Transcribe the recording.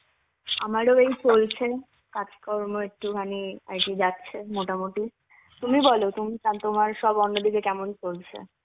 আমার ওই চলছে কাজকর্ম একটুখানি আর কি যাচ্ছে মোটামুটি. তুমি বলো তুম~ তোমার সব অন্য দিকে কেমন চলছে?